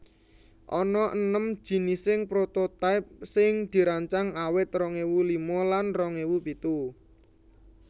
Ana enem jinising prototype sing dirancang awit rong ewu lima lan rong ewu pitu